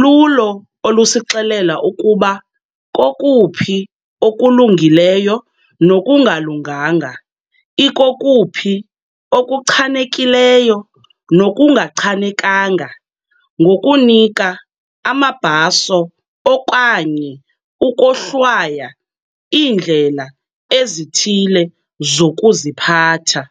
lulo olusixelela ukuba kokuphi okulungileyo nokungalunganga ikokuphi okuchanekileyo nokungachanekanga ngokunika amabhaso okanye ukohlwaya iindlela ezithile zokuziphatha.